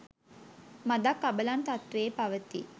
මදක් අබලන් තත්ත්වයේ පවතී.